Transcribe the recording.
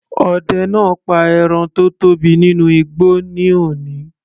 Ọdẹ náà pa ẹran tó tóbi nínú igbó ní òní.